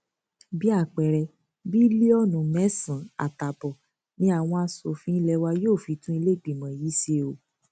bíi àpẹẹrẹ bílíọnù mẹsànán àtààbọ ni àwọn aṣòfin ilé wa yóò fi tún iléìgbìmọ yìí ṣe o